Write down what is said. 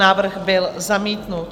Návrh byl zamítnut.